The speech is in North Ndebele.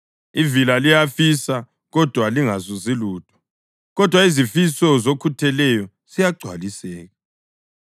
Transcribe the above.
Ivila liyafisa kodwa lingazuzi lutho, kodwa izifiso zokhutheleyo ziyagcwaliseka.